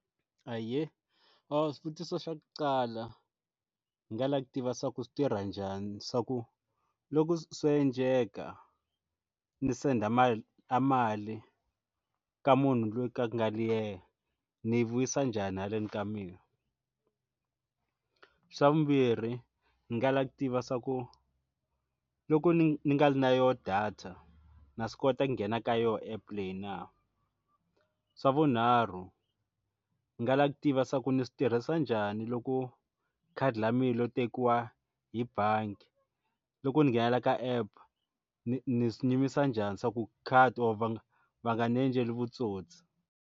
Ahee a swivutiso xa ku qala hi nga lava ku tiva swa ku swi tirha njhani swa ku loko swo endleka ndzi senda a mali mali ka munhu loyi a nga ri yena ndzi yi vuyisa njhani haleni ka mina ku xa vumbirhi ndzi nga lava ku tiva swa ku loko ndzi ndzi nga na yona data na swi kota nghena ka yona epe leyi na swa vunharhu ndzi nga lava ku tiva swa ku ni swi tirhisa njhani loko khadi ra mina ro tekiwa hi bangi loko ndzi nghenela ka app ndzi ndzi swi nyumisa njhani swa ku khadi or va va nga ndzi endleli vutsotsi.